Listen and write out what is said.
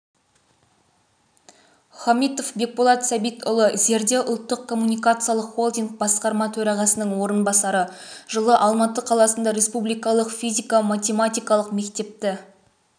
хамитов бекболат сәбитұлы зерде ұлттық коммуникациялық холдинг басқарма төрағасының орынбасары жылы алматы қаласында республикалық физика-математикалық мектепті